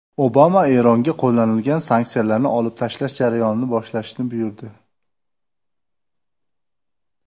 Obama Eronga qo‘llanilgan sanksiyalarni olib tashlash jarayonini boshlashni buyurdi.